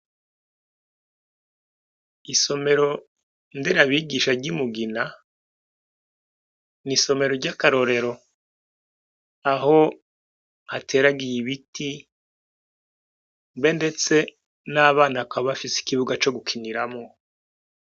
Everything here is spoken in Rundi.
Isomero nderabigisha ry'i Mugina, ni isomero ry'akarorero; aho hateragiye ibiti, mbe ndetse, n'abana bakaba bafise ikibuga co gukiniramwo.